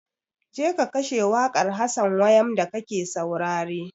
Je ka kashe wakar Hassan wayam da ka ke saurare!